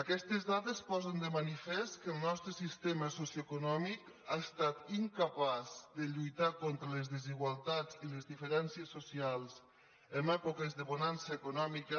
aquestes dades posen de manifest que el nostre sistema socioeconòmic ha estat incapaç de lluitar contra les desigualtats i les diferències socials en èpoques de bonança econòmica